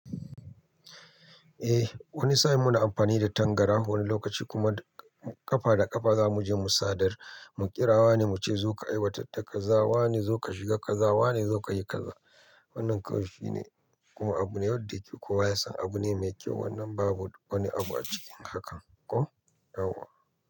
Wani sa'in muna amfani da tangara wani lokaci kuma ƙafa da ƙafa za muje mu sadar mu kira wane muce zoka aiwatar da kaza wane zoka shiga kaza wane zokayi kaza wannan kawai shine kuma abu ne wanda yake kowa yasan abune me kyau wanda babu wani abu a cikin hakan.